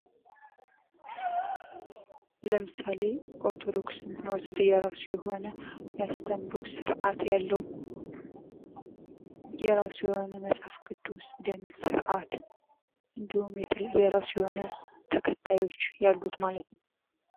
ለምሳሌ ኦርቶዶክስን ብንወስድ የራሱ የሆነ የአስተምህሮ ስርአት ያለው የራሱ የሆነ መጽሐፍ ቅዱስ ደንብ ስርዓት እንዲሁም የተለያየ የራሱ የሆነ ተከታዮች ያሉት ማለት ነው።